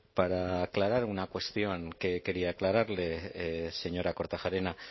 para aclarar una cuestión que quería aclararle señora kortajarena